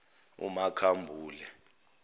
umakhambule